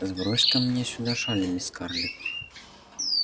сбрось-ка мне сюда шаль мисс скарлетт